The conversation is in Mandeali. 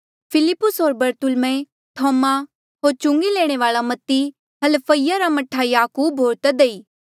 फिलिप्पुस होर बरतुल्मै थोमा होर चुंगी लैणे वाल्आ मत्ती हलफईसा रा मह्ठा याकूब होर तद्दै